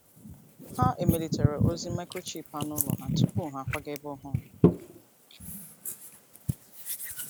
Ha emelitere ozi microchip anụ ụlọ ha tupu ha akwaga ebe ọhụrụ.